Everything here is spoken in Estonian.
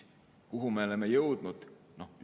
Kuhu me oleme jõudnud?